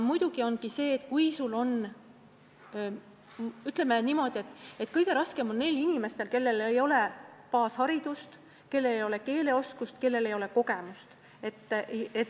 Muidugi, kõige raskem on neil inimestel, kellel ei ole baasharidust, keeleoskust ega kogemust.